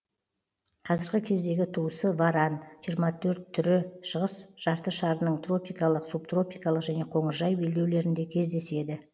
қазіргі кездегі туысы варан жиырма төрт түрі шығыс жартышарының тропикалық субтропикалық және қоңыржай белдеулерінде кездеседі